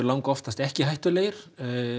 oftast ekki hættulegir